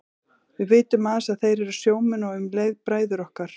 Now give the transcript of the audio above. Við vitum aðeins að þeir eru sjómenn og um leið bræður okkar.